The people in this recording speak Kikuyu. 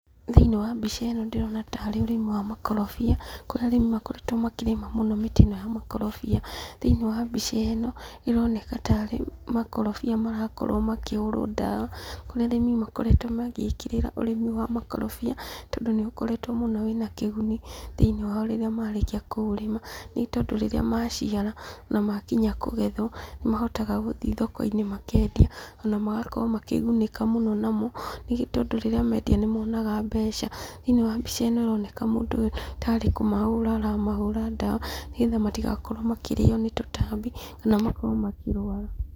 Thĩinĩ wa mbica ĩno ndĩrona tarĩ ũrĩmi wa makorobia, kũrĩa arĩmi makoretwo makĩrĩma mũno mĩtĩ ĩno ya makorobia. Thĩinĩ wa mbica ĩno ĩroneka tarĩ makorobia marakorwo makĩhũrwo ndawa, kũrĩa arĩmi makoretwo magĩĩkĩrĩra ũrĩmi wa makorobia, tondũ nĩũkoretwo mũno wĩna kĩguni, thĩinĩ wao rĩrĩa wao rĩrĩa marĩkia kũũrĩma, nĩ tondũ rĩrĩa maciara na makinya kũgethwo, nĩ mahotaga gũthiĩ thoko-inĩ makendia, ona magakorwo makĩgunĩka mũno namo, nĩ tondũ rĩrĩa mendia nĩ monaga mbeca. Thĩinĩ wa mbica ĩno ĩroneka mũndũ ũyũ tarĩ kũmahũra aramahũra ndawa, nĩgetha matigakorwo makĩrĩo nĩ tũtambi, kana makorwo makĩrũara.